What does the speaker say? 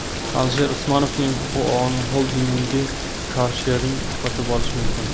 Alisher Usmonovning xoldingi karshering sotib olishi mumkin.